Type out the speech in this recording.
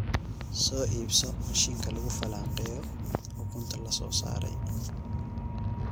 Soo iibso mishiinka lagu falanqeeyo ukunta la soo saaray.